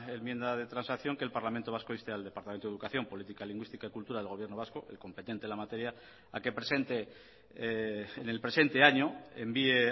enmienda de transacción que el parlamento vasco inste al departamento de educación política lingüística y cultura del gobierno vasco el competente en la materia a que presente en el presente año envíe